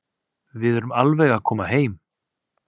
Við erum alveg að koma heim.